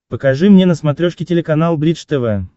покажи мне на смотрешке телеканал бридж тв